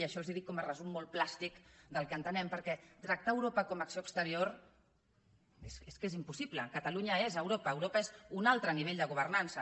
i això els ho dic com a resum molt plàstic del que entenem perquè tractar europa com a acció exterior és que és impossible catalunya és europa europa és un altre nivell de governança